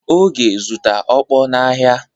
Oge zụta okpor n'ahịa.